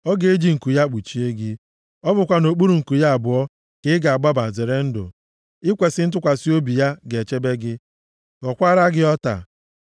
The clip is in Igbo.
Ọ ga-eji nku ya kpuchie gị. Ọ bụkwa nʼokpuru nku ya abụọ, ka ị ga-agbaba zere ndụ, ikwesi ntụkwasị obi ya ga-echebe gị, ghọkwaara gị ọta.